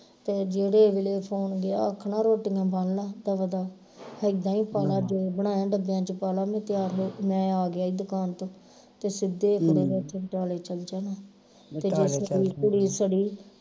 ਤੇ ਜਿਹੜੇ ਵੇਲੇ phone ਗਿਆ ਆਖਣਾ ਰੋਟੀਆਂ ਬੰਨ ਲਾ ਦਵਾ ਦਵ ਹਿੱਦਾ ਹੀ ਪਾ ਲਾ ਜੋ ਬਨਾਇਆ ਡੱਬਿਆਂ ਵਿਚ ਪਾ ਲਾ ਮੈਂ ਤਿਆਰ ਮੈਂ ਆ ਗਿਆ ਈ ਦੁਕਾਨ ਤੋਂ ਤੇ ਸਿੱਧਾ ਈ ਕੁੜੀ ਨੇ ਉਥੇ ਬਟਾਲੇ ਚੱਲ ਜਾਣਾ ਤੇ ਕੁੜੀ ਸੜੀ